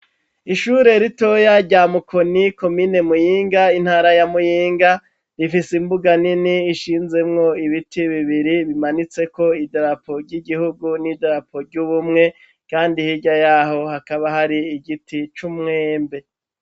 Ishure ritoya, rya Mukoni, komine Muyinga, intara ya Muyinga; rifise imbuga nini, ishinzemwo ibiti bibiri, bimanitseko idarapo ry'igihugu n'idarapo ry'ubumwe, kandi hirya y'aho, hakaba hari igiti c'umwembe.